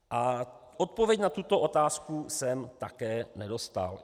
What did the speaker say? A odpověď na tuto otázku jsem také nedostal.